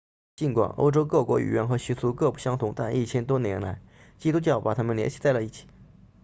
尽管欧洲各国语言和习俗各不相同但一千多年来基督教把它们联系在了一起